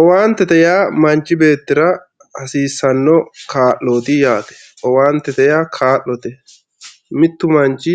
Owantete ya manchi betira hasisano kaloti yate owanitet ya Kalote mittu manchi